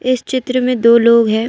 इस चित्र में दो लोग हैं।